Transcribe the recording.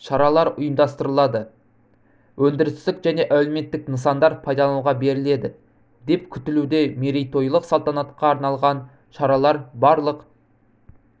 шаралар ұйымдастырылады өндірістік және әлеуметтік нысандар пайдалануға беріледі деп күтілуде мерейтойлық салтанатқа арналған шаралар барлық